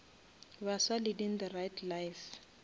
baswa leading the right life